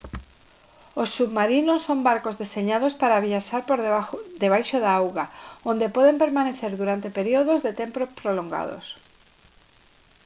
os submarinos son barcos deseñados para viaxar por debaixo da auga onde poden permanecer durante períodos de tempo prolongados